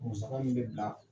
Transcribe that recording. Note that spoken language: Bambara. Musaka min bɛ bila